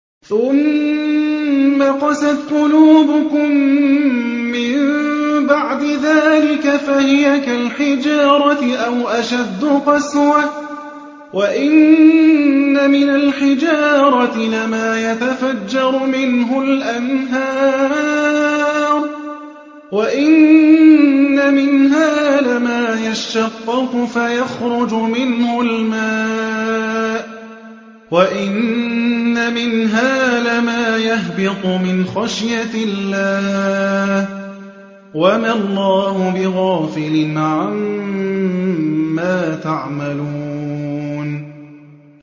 ثُمَّ قَسَتْ قُلُوبُكُم مِّن بَعْدِ ذَٰلِكَ فَهِيَ كَالْحِجَارَةِ أَوْ أَشَدُّ قَسْوَةً ۚ وَإِنَّ مِنَ الْحِجَارَةِ لَمَا يَتَفَجَّرُ مِنْهُ الْأَنْهَارُ ۚ وَإِنَّ مِنْهَا لَمَا يَشَّقَّقُ فَيَخْرُجُ مِنْهُ الْمَاءُ ۚ وَإِنَّ مِنْهَا لَمَا يَهْبِطُ مِنْ خَشْيَةِ اللَّهِ ۗ وَمَا اللَّهُ بِغَافِلٍ عَمَّا تَعْمَلُونَ